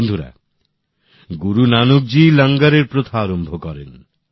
বন্ধুরা গুরু নানকজীই লঙ্গরের প্রথা আরম্ভ করেন